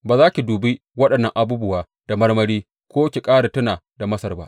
Ba za ki dubi waɗannan abubuwa da marmari ko ki ƙara tuna da Masar ba.